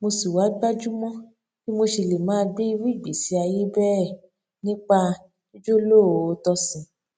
mo sì wá gbájú mó bí mo ṣe lè máa gbé irú igbésí ayé bẹẹ nípa jíjólóòótọ sí i